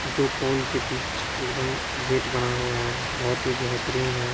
दो पोल के बीच एकदम गेट बना हुआ है बहुत ही बेहतरीन है।